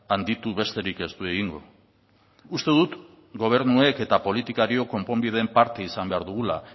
handitu besterik ez du egingo uste dut gobernuek eta politikariok konponbidearen parte izan behar dugula